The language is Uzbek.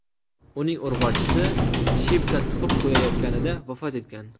Uning urg‘ochisi Shipka tuxum qo‘yayotganida vafot etgan.